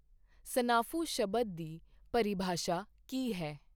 snafu ਸ਼ਬਦ ਦੀ ਪਰਿਭਾਸ਼ਾ ਕੀ ਹੈ